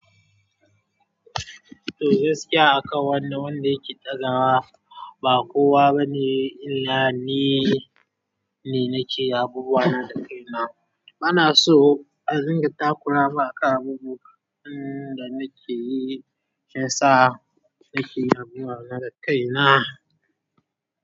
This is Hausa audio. To gaskiya akan wannan wanda yake ɗagawa, ba kowa bane illah ni ne nake yin abubuwa na da kaina. Bana so an dinga takura maka abubuwan da nake yi, fasa nake yamewa na da kaina.